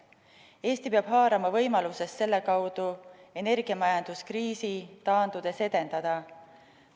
Eesti peab haarama võimalusest selle kaudu energiamajandust kriisi taandudes edendada.